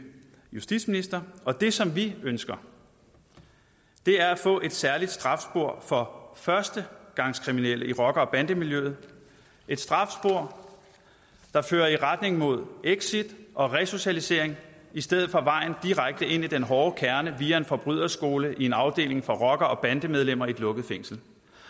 justitsminister og det som vi ønsker er at få et særligt strafspor for førstegangskriminelle i rocker bande miljøet et strafspor der fører i retning mod exit og resocialisering i stedet for vejen direkte ind i den hårde kerne via en forbryderskole i en afdeling for rockere og bandemedlemmer i et lukket fængsel